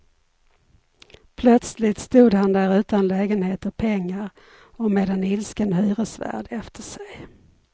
Plötsligt stod han där utan lägenhet och pengar, och med en ilsken hyresvärd efter sig.